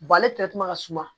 ale ka suma